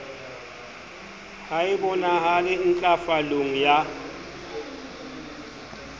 ha e bonahale ntlafalong ya